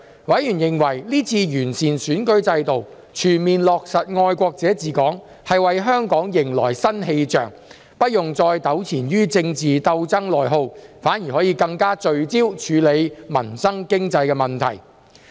委員認為這次完善選舉制度，全面落實"愛國者治港"，為香港迎來新氣象，不用再糾纏於政治鬥爭內耗，反而可更聚焦處理民生經濟問題。